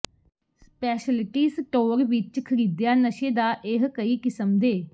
speciality store ਵਿੱਚ ਖਰੀਦਿਆ ਨਸ਼ੇ ਦਾ ਇਹ ਕਈ ਕਿਸਮ ਦੇ